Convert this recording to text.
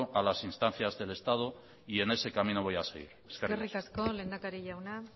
a las instancias del estado y en ese camino voy a seguir eskerrik asko eskerrik asko lehendakari jauna